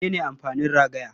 Mene ne amfanin ragaya?